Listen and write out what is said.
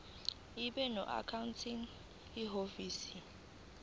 ibe noaccounting ihhovisir